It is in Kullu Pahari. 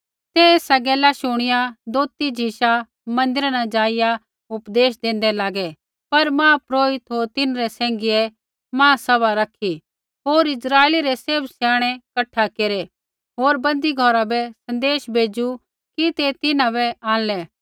ते एसा गैल शुणिआ दोथी झिशा मन्दिरा न ज़ाइआ उपदेश देन्दै लागै पर महापुरोहित होर तिन्हरै सैंघियै महासभा रखी होर इस्राइली रै सैभ स्याणै कठा केरै होर बन्दी घौरा बै सन्देश भेज़ू कि ते तिन्हां बै आंणलै